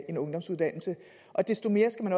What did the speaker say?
en ungdomsuddannelse og desto mere skal man